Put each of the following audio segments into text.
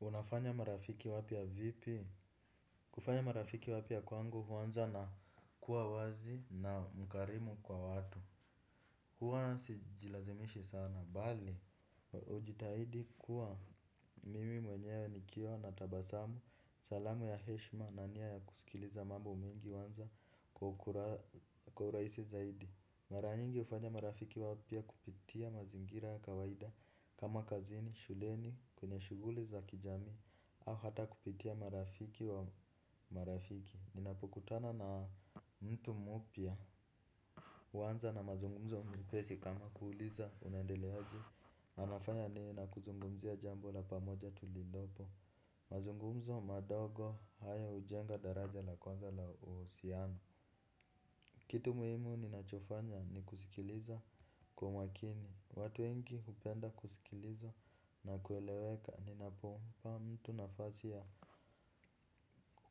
Unafanya marafiki wapya vipi. Kufanya marafiki wapya kwangu huanza na kuawazi na mkarimu kwa watu. Huana sijilazimishi sana bali ujitahidi kuwa mimi mwenye wa nikiwa na tabasamu salamu ya heshma na nia ya kusikiliza mambo mingi wanza kwa urahisi zaidi mara nyingi hufanya marafiki wapya kupitia mazingira kawaida kama kazini, shuleni, kwenye shuguli za kijami au hata kupitia marafiki wa marafiki ninapokutana na mtu mpya. Huanza na mazungumzo mepesi kama kuuliza unaendeleaje, anafanya nini na kuzungumzia jambo la pamoja tulilopo. Mazungumzo madogo haya hujenga daraja la kwanza la uhusiano. Kitu muhimu ninachofanya ni kusikiliza kwa makini, watu wengi hupenda kusikiliza na kueleweka ninapompa mtu nafasi ya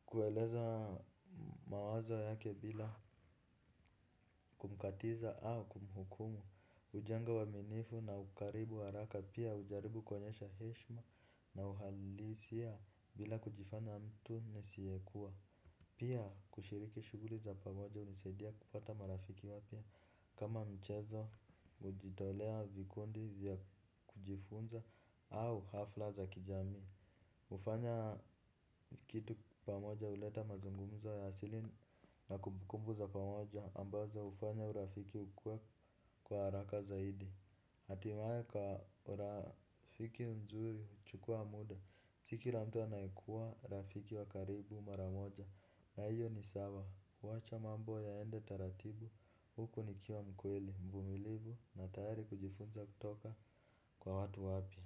kueleza mawazo yake bila kumkatiza au kumhukumu, hujenga uaminifu na ukaribu haraka pia hujaribu kuonyesha heshma na uhalisia bila kujifanya mtu nisiekua. Pia kushiriki shughuli za pamoja hunisadia kupata marafiki wapya kama mchezo kujitolea vikundi vya kujifunza au hafla za kijamii. Hufanya kitu pamoja huleta mazungumzo ya asili na kumbukumbu za pamoja ambazo hufanya urafiki kukua kwa haraka zaidi. Hatimae kwa rafiki mzuri huchukua muda si kila mtu anayekuwa rafiki wa karibu mara moja na iyo ni sawa wacha mambo yaende taratibu huku nikiwa mkweli mvumilifu na tayari kujifunza kutoka kwa watu wapya.